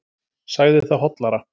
Sagði það hollara.